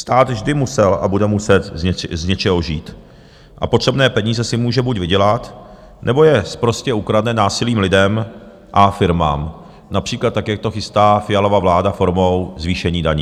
Stát vždy musel a bude muset z něčeho žít a potřebné peníze si může buď vydělat, nebo je sprostě ukradne násilím lidem a firmám například tak, jak to chystá Fialova vláda, formou zvýšení daní.